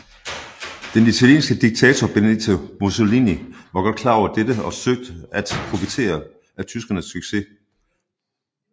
Den italienske diktator Benito Mussolini var godt klar over dette og søgte at profitere af tyskernes succes